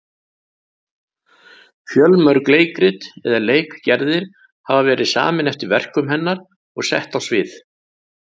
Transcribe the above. Fjölmörg leikrit eða leikgerðir hafa verið samin eftir verkum hennar og sett á svið.